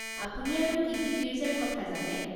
আপুনি আৰু কি কি গীৰ্জাৰ কথা জানে?